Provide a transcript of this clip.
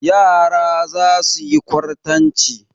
Yara za su yi kwartanci.